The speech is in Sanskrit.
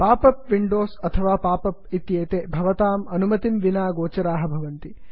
पाप् अप् विंडोस् अथवा पाप् अप् इत्येते भवताम् अनुमतिं विना गोचराः भवन्ति